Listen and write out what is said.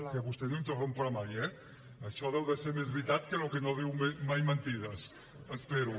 que vostè no interromp mai això deu ser més veritat que allò que diu que no diu mai mentides espero